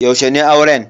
Yaushe ne auren?